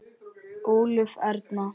Ólöf Erna.